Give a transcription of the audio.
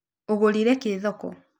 Ũgũrĩre kĩ thoko?